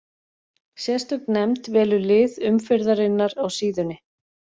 Sérstök nefnd velur lið umferðarinnar á síðunni.